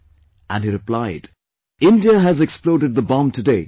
" And he replied, "India has exploded the bomb today